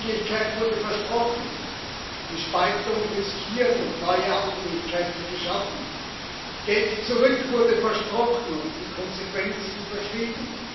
Die Unabhängigkeit wurde versprochen, die Spaltung riskiert und neue Abhängigkeiten geschaffen, Geld zurück wurde versprochen und die Konsequenzen verschwiegen.